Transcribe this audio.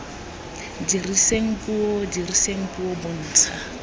diriseng puo diriseng puo bontsha